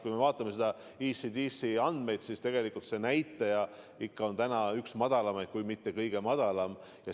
Kui me vaatame ECDC andmeid, siis tegelikult meie näitaja on ikka üks madalamaid kui mitte kõige madalam.